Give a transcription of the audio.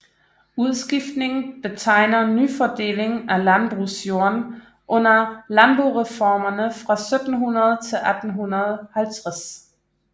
Udskiftningen betegner nyfordelingen af landbrugsjorden under Landboreformerne fra 1700 til 1850